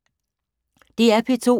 DR P2